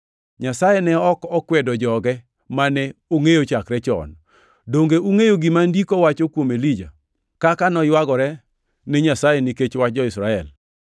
Nyasaye ne ok okwedo joge mane ongʼeyo chakre chon. Donge ungʼeyo gima Ndiko wacho kuom Elija, kaka noywagore ni Nyasaye nikech wach jo-Israel: